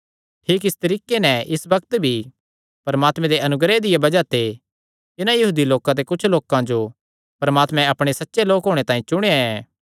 ठीक इस तरीके नैं इस बग्त भी परमात्मे दे अनुग्रह दिया बज़ाह ते इन्हां यहूदी लोकां ते कुच्छ लोकां जो परमात्मे अपणे सच्चे लोक होणे तांई चुणेया ऐ